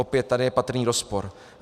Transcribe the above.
Opět tady je patrný rozpor.